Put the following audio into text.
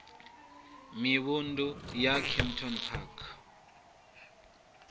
mivhundu ya ḽa kempton park